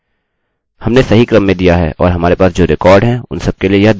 हमने सही क्रम में दिया है और हमारे पास जो रिकार्डअभिलेख हैं उन सबके लिए यह दोहराया भी गया है